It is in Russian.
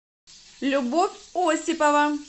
любовь осипова